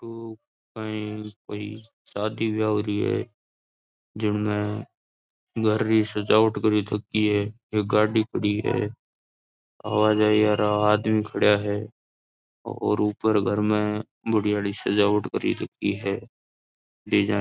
यो कही कोई शादी व्याह हो री है जिनमे घर री सजावट करयो ची है एक गाड़ी खड़ी है अवाजाई आरो आदमी खड़े है और ऊपर घर में बढ़िया री सजावट कर रखी है डिज़ाइन --